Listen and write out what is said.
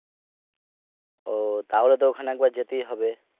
ও তাহলে তো ওখানে একবার যেতেই হবে,